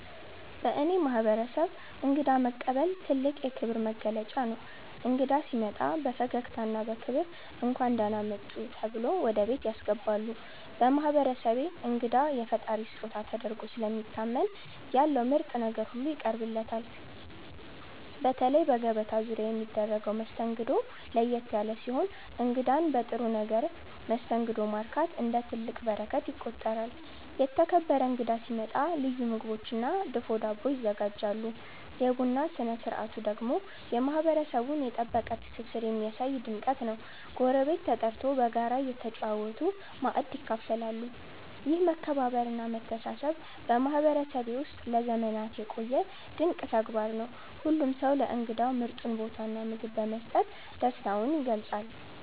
በእኔ ማህበረሰብ እንግዳ መቀበል ትልቅ የክብር መገለጫ ነው። እንግዳ ሲመጣ በፈገግታና በክብር “እንኳን ደህና መጡ” ተብሎ ወደ ቤት ያስገባሉ። በማህበረሰቤ እንግዳ የፈጣሪ ስጦታ ተደርጎ ስለሚታመን ያለው ምርጥ ነገር ሁሉ ይቀርብለታል። በተለይ በገበታ ዙሪያ የሚደረገው መስተንግዶ ለየት ያለ ሲሆን እንግዳን በጥሩ መስተንግዶ ማርካት እንደ ትልቅ በረከት ይቆጠራል። የተከበረ እንግዳ ሲመጣ ልዩ ምግቦችና ድፎ ዳቦ ይዘጋጃሉ። የቡና ስነ ስርዓቱ ደግሞ የማህበረሰቡን የጠበቀ ትስስር የሚያሳይ ድምቀት ነው፤ ጎረቤት ተጠርቶ በጋራ እየተጨዋወቱ ማእድ ይካፈላሉ። ይህ መከባበርና መተሳሰብ በማህበረሰቤ ውስጥ ለዘመናት የቆየ ድንቅ ተግባር ነው። ሁሉም ሰው ለእንግዳው ምርጡን ቦታና ምግብ በመስጠት ደስታውን ይገልጻል።